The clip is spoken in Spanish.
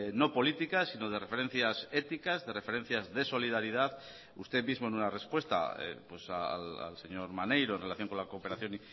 no políticas sino de referencias éticas de referencias de solidaridad usted mismo en una respuesta al señor maneiro en relación con la cooperación